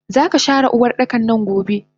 Zaka share Uwardakannan gobe!